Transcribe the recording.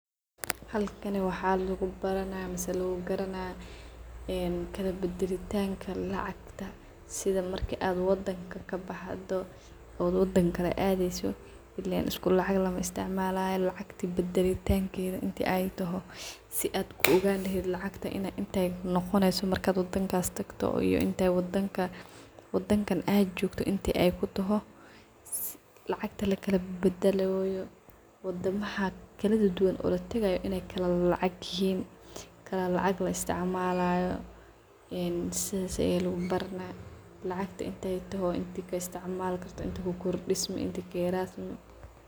Halkani waxaa lugubaranah mise lagugaranah een kalabadalitanka lacagta sidhi marki ad wadanka kabaxdho ad wadan kale adeyso , ilen iskulacag malaisticmalo wadamadha kaladuduwan kala lacag aa laisticmallah waayo wa wadama kala eh , qofka marku dofayo waxaa larawah in lacagtisa uu badasho wadanka uu socdho lacagtedha in uu kadigto aa larawah isticmalayo sas aa lugubaranah. Lacagta in tay taho inta kaisticmali inta ku kordismi inti kayaresmi.